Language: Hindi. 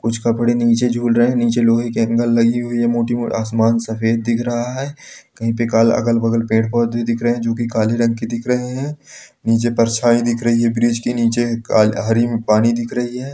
कुछ कपड़े निचे झूल रहें हैं निचे लोहे के एंगल लगी हुई है मोती आसमान सफेद दिख रहा है कही पे काला अगल बगल पेड़-पौधे दिख रहें हैं जो की काले रंग के दिख रहें हैं निचे परछाई दिख रही है ब्रिज के निचे एक अ हरी पानी दिख रही है।